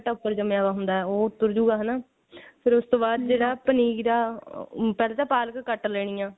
ਮਿੱਟੀ ਘੱਟਾ ਉੱਪਰ ਜਮਿਆ ਹੁੰਦਾ ਉਹ ਉੱਤਰ ਜੁਗਾ ਹਨਾ ਫੇਰ ਉਸ ਤੋਂ ਬਾਅਦ ਜਿਹੜਾ ਉਹ ਪਨੀਰ ਐ ਊਂ ਤਾਂ ਜਿਹੜਾ ਪਾਲਕ ਐ ਉਹ ਘੱਟ ਲੈਣੀ ਆ